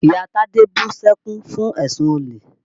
Ìyá Tádé bú sẹ́kún fún èsùn olè.